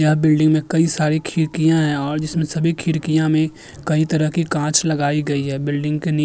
यह बिल्डिंग में कई सारी खिड़कियाँ हैं और जिसमें सभी खिड़कियाँ में कई तरह के कांच लगाई गई है| बिल्डिंग के नी --